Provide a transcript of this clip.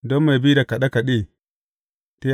Don mai bi da kaɗe kaɗe.